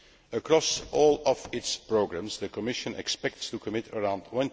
Across all of its programmes the Commission expects to commit around EUR